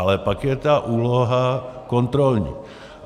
Ale pak je ta úloha kontrolní.